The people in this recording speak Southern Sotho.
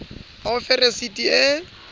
a o fe resiti e